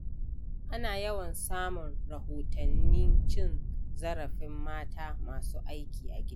Ana yawan samun rahotannin cin zarafin mata masu aiki a gida.